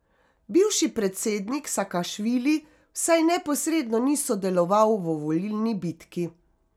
Bivši predsednik Sakašvili vsaj neposredno ni sodeloval v volilni bitki.